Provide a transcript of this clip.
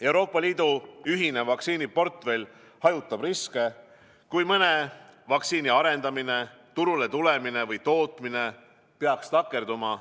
Euroopa Liidu ühine vaktsiiniportfell hajutab riske, kui mõne vaktsiini arendamine, turule tulemine või tootmine peaks takerduma.